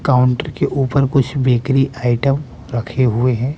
Counter के ऊपर कुछ बेकरी आइटम रखे हुए हैं।